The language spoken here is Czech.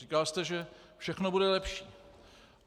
Říkal jste, že všechno bude lepší.